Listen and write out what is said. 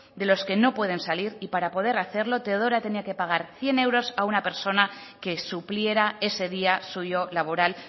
de los que no pueden salir y para poder hacerlo teodora tenía que pagar cien euros a una persona que supliera ese día suyo laboral